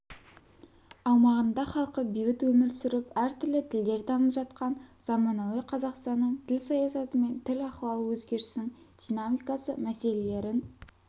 аумағында халқы бейбіт өмір сүріп әртүрлі тілдер дамып жатқан заманауи қазақстанның тіл саясаты мен тіл ахуалы өзгерісінің динамикасы мәселелерін